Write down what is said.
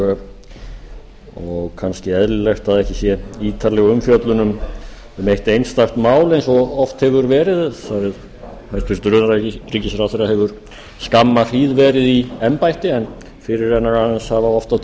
og kannski eðlilegt að ekki sé ítarleg umfjöllun um eitt einstakt mál eins og oft hefur verið þar sem hæstvirtur utanríkisráðherra hefur skamma hríð verið í embætti en fyrirrennarar hans hafa oft á